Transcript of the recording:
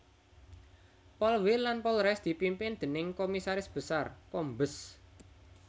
Polwil lan Polres dipimpin déning Komisaris Besar Kombes